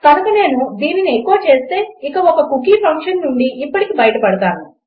కనుక నేను దీనిని ఎఖో చేస్తే ఇక ఈ కుకీ ఫంక్షన్ నుండి ఇప్పటికి బయటపడతాను